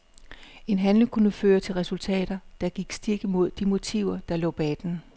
En handling kunne føre til resultater, der gik stik imod de motiver der lå bag den.